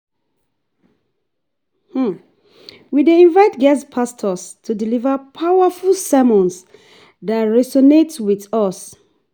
We dey invite guest pastors to deliver powerful sermons that resonate with us.